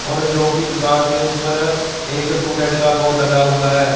और जो की दुकान के ऊपर एक टूलेट का बोर्ड लगा हुआ है।